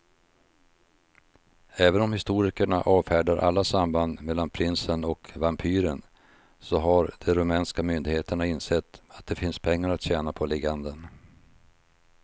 Även om historikerna avfärdar alla samband mellan prinsen och vampyren så har de rumänska myndigheterna insett att det finns pengar att tjäna på legenden.